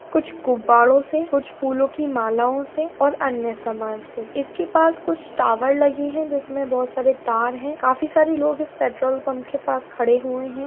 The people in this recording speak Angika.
कुछ गुब्बाड़ो से कुछ फूलो की मालाओं से और अन्य समान से इसके पास कुछ टावर लगी है जिसमे बहोत सारे तार है काफी सारे लोग इस पेट्रोल पम्प के पास खड़े हुए हैं।